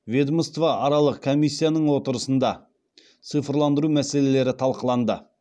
ведомствоаралық комиссияның отырысында цифрландыру мәселелері талқыланды